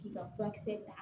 K'i ka furakisɛ ta